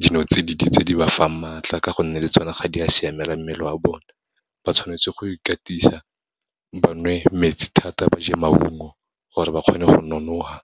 dinotsididi tse di ba fang matla, ka gonne le tsona ga di a siamela mmele wa bone. Ba tshwanetse go ikatisa, ba nwe metsi thata, ba je maungo, gore ba kgone go nonofa.